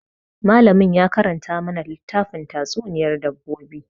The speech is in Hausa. Malamin ya karanta mana littafin tatsuniyar dabbobi.